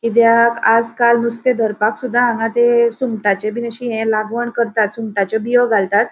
किद्याक आजकाल नुसते धरपाकसुदा हांगा ते सुंगटाचे बिन अशी ह्ये लागवण करतात सुंगटाचो बियों घालतात.